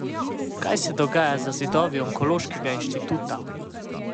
Kaj se dogaja za zidovi onkološkega inštituta?